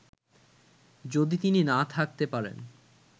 যদি তিনি না থাকতে পারেন